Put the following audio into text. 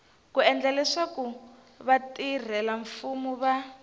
ku endla leswaku vatirhelamfumo va